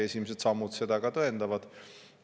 Esimesed sammud seda ka tõendavad.